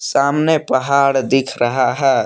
सामने पहाड़ दिख रहा हैं।